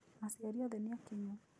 Aciari othe nĩ akinyu.